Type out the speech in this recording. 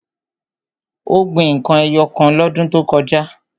Ó gbin n kan ẹyọ kan lọ́dún tó kọjá.